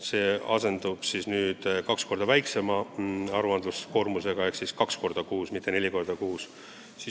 See asendub kaks korda väiksema aruandekoormusega: aruanded tuleb esitada kaks korda kuus, mitte neli korda kuus.